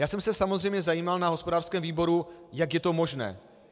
Já jsem se samozřejmě zajímal na hospodářském výboru, jak je to možné.